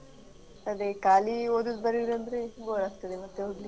ಅದೇ ಖಾಲಿ ಓದುದ್ ಬರ್ಯುದ್ ಅಂದ್ರೆ bore ಆಗ್ತದೆ ಮತ್ತೆ ಓದ್ಲಿಕ್.